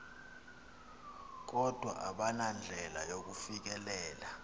kodwa abanandlela yakufikelela